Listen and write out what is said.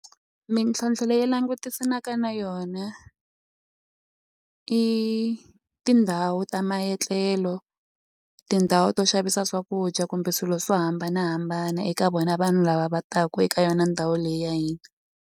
Mintlhontlho leyi langutisanaka na yona i tindhawu ta ma etlelo tindhawu to xavisa swakudya kumbe swilo swo hambanahambana eka vona vanhu lava va taku eka yona ndhawu leyi ya hina.